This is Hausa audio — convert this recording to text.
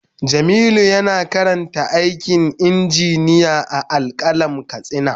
Jamilu yana karanta aikin injiniya a Al-qalam katsina.